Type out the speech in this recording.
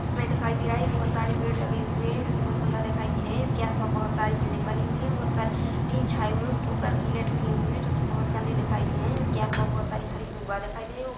दिखाई दे रहा है बहुत सारे पेड़ लगे हुए हैं जो की बहुत सुंदर दिखाई दे रहे हैं इसके आस पास बहुत सारी बिल्डिंग बनी हुई है बहुत सारे टीन छाई हुए हैं इसके ऊपर किले ठोकी हुई है जो कि बहुत गंदी दिखाई दे रही हैं इसके आस पास हरी दूबा दिखाई दे रही है ऊ--